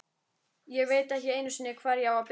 Ég veit ekki einu sinni, hvar ég á að byrja.